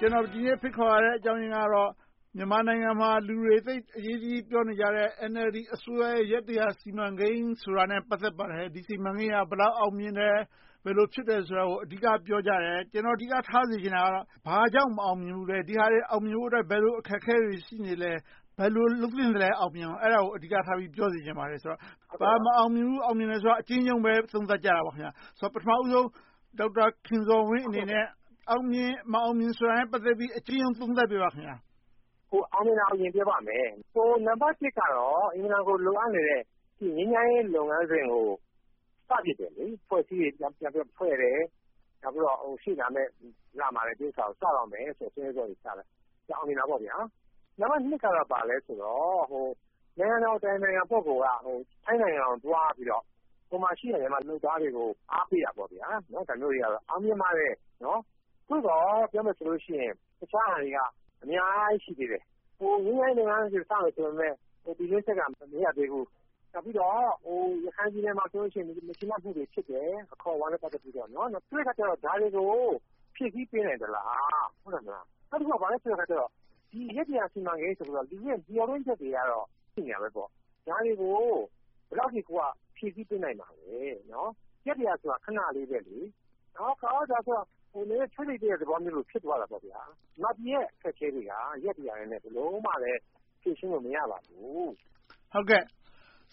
ကျနော် ဒီနေ့ ဖိတ်ခေါ်ရတဲ့အကြောင်းရင်းကတော့ ဒီနေ့ မြန်မာနိုင်ငံမှာ လူတွေ အရေးတကြီးပြောနေကြတဲ့ NLD အစိုးရရဲ့ ရက် စီမံကိန်းဆိုတာနဲ့ ပတ်သက်ပါတယ်။ စီမံကိန်းက ဘယ်လောက် အောင်မြင်တယ်။ ဘယ်လို ဖြစ်တယ်ဆိုတာကို အဓိက ပြောကြတယ်။ ကျနော် အဓိကထားစေချင်တာက ဘာကြောင့် မအောင်မြင်ဘူးလဲ။ ဒီဟာတွေ အောင်မြင်ဖို့အတွက် ဘယ်လို အခက်အခဲတွေ ရှိနေလဲ။ ဘယ်လို လုပ်သင့်လဲ။ အဲဒါကို အဓိကထား ပြောစေချင်ပါတယ်။ ဘာ မအောင်မြင်ဘူး၊ အောင်မြင်တယ်ဆိုတာကို အကျဉ်းရုံး သုံးသပ်ကြတာပေါ့။ ပထမဦးဆုံး ဒေါက်တာခင်ဇော်ဝင်းအနေနဲ့ အောင်မြင်၊ မအောင်မြင်တာနဲ့ ပတ်သက်ပြီး အကျဉ်းရုံးသုံးသပ်ပြပါ။ အောင်မြင်မအောင်မြင် ပြောပါမယ်။ နံပတ်တစ်ကတော့ အင်မတန်ကို လိုအပ်နေတဲ့ ငြိမ်းချမ်းရေးလုပ်ငန်းစဉ်ကို စတင်ခဲ့ပြီ။ အဖွဲ့အစည်းတွေ ပြန်ဖွဲ့တယ်။ နောက်ပြီးတော့ ရှေ့လာမယ့်လမှာပဲ စတော့မယ်ဆိုတဲ့ ဆုံးဖြတ်ချက်တွေချခဲ့တယ်။ အောင်မြင်တာပေါ့။ နံပတ်နှစ်က ဘာလဲဆိုတော့ နိုင်ငံတော်အတိုင်ပင်ခံပုဂ္ဂိုလ် က ထိုင်းနိုင်ငံကို သွားပြီးတော့ ဟိုမှာရှိတဲ့ မြန်မာအလုပ်သမားတွေကို အားပေးတယ်။ ဒါမျိုးတွေက အောင်မြင်ပါတယ်။ သို့သော် ပြောမယ်ဆိုရင် တခြားဟာတွေက အများကြီး ရှိသေးတယ်။ ငြိမ်းချမ်းရေးလုပ်ငန်းစဉ် စမယ်ဆိုပေမယ့် ပြည်တွင်းစစ်က မရပ်သေးဘူး။ နောက်ပြီးတော့ ရခိုင်ပြည်နယ်မှာဆိုရင် အခေါ်အဝေါ်နဲ့ ပတ်သက်ပြီးတော့ မကျေနပ်မှုတွေ ဖြစ်တယ်။ ဒါတွေကို ဖြည့်ဆည်းပေးနိုင်လား။ နောက်တခုက ဘာလဲဆိုရင် ဒီ ရက် စီမံကိန်းအပေါ် မျှော်လင့်ချက်တွေကတော့ ရှိနေတာပေါ့။ ဒါတွေကို သူတို့က ဘယ်လောက်အထိ ဖြည့်ဆည်းပေးနိုင်လဲ။ ရက် ဆိုတာ ခဏလေးပဲ။ မြန်မာပြည်က အခက်အခဲတွေက ရက် နဲ့ ဘယ်လိုမှ ဖြေရှင်းလို့ မရနိုင်ပါဘူး။